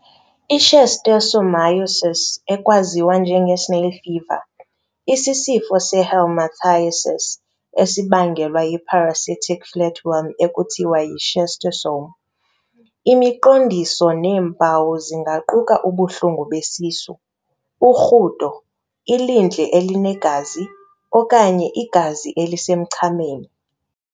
I-Schistosomiasis, ekwaziwa njenge-snail fever, isisifo se-helminthiasis esibangelwa yi-parasitic flatworm ekuthiwa yi-schistosomes. Imiqondiso neempawu zingaquka ubuhlungu besisu, urhudo, ilindle elinegazi, okanye igazi elisemchameni.